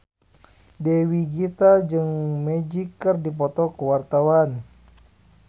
Dewi Gita jeung Magic keur dipoto ku wartawan